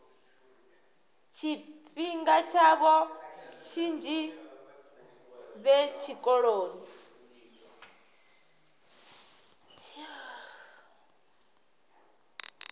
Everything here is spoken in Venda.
tshifhinga tshavho tshinzhi vhe tshikoloni